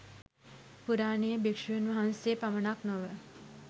පුරාණයේ භික්ෂූන් වහන්සේ පමණක් නොව